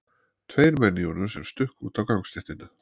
Tveir menn í honum sem stukku út á gangstéttina.